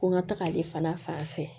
Ko n ka taga ale fana fan fɛ